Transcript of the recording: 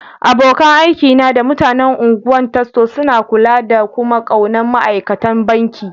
Abokan aiki na da mutanen Ungwan Tasso suna kulla da kuma ƙaunan ma'aikatan banki.